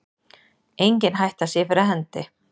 Engin hætta sé fyrir hendi